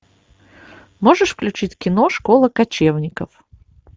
можешь включить кино школа кочевников